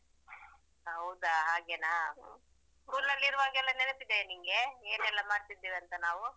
ಹೌದಾ ಹಾಗೆನಾ school ಅಲ್ಲಿ ಇರುವಾಗ ನೆನಪಿದೆಯಾ ನಿನ್ಗೆ ಏನೆಲ್ಲಾ ಮಾಡ್ತಿದ್ದೇವಂತ ನಾವು.